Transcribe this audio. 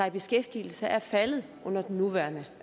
i beskæftigelse er faldet under den nuværende